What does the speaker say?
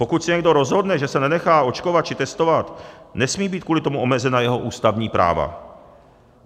Pokud se někdo rozhodne, že se nenechá očkovat či testovat, nesmí být kvůli tomu omezena jeho ústavní práva.